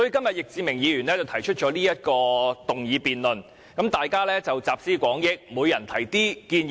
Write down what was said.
易志明議員這次提出議案辯論，讓大家集思廣益，提出一些建議。